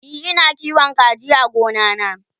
e Ina kiwon kaji a gona na